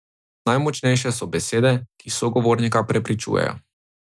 Najmočnejše so besede, ki sogovornika prepričujejo.